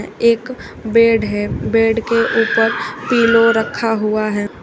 एक बेड है बेड के ऊपर पिलो रखा हुआ है।